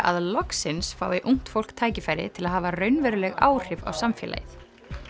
að loksins fái ungt fólk tækifæri til að hafa raunveruleg áhrif á samfélagið